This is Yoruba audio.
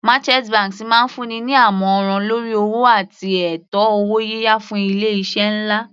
Merchant banks máa ń fún ni ní àmọ̀ràn lórí owó àti ètò owó yíyá fún ilé iṣẹ́ nlá.